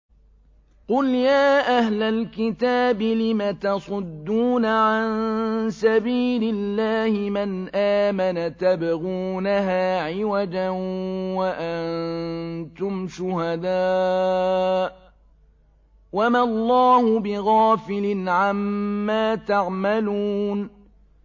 قُلْ يَا أَهْلَ الْكِتَابِ لِمَ تَصُدُّونَ عَن سَبِيلِ اللَّهِ مَنْ آمَنَ تَبْغُونَهَا عِوَجًا وَأَنتُمْ شُهَدَاءُ ۗ وَمَا اللَّهُ بِغَافِلٍ عَمَّا تَعْمَلُونَ